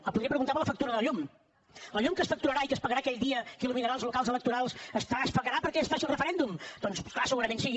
em podria preguntar per la factura de la llum la llum que es facturarà i que es pagarà aquell dia que il·luminarà els locals electorals es pagarà perquè es faci el referèndum doncs clar segurament sí